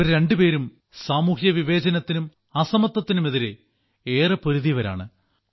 ഇവർ രണ്ടുപേരും സാമൂഹ്യ വിവേചനത്തിനും അസമത്വത്തിനുമെതിരെ ഏറെ പൊരുതിയവരാണ്